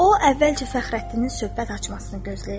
O, əvvəlcə Fəxrəddinin söhbət açmasını gözləyirdi.